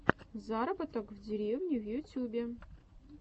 заработок в деревне в ютюбе